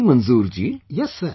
See Manzoor ji...